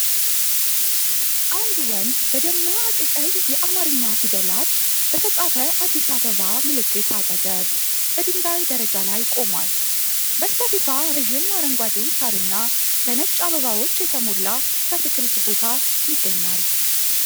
አንድ ወንድ በደማቅ ቀይ የአማርኛ ፊደላት በተጻፈ አዲስ አበባ ምልክት አጠገብ፣ በድንጋይ ደረጃ ላይ ቆሟል። በስተፊቷ ረዥም አረንጓዴ ሳርና በነጭ አበባዎች የተሞላ የአትክልት ቦታ ይገኛል።